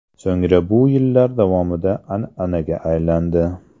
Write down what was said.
So‘ngra bu yillar davomida an’anaga aylandi.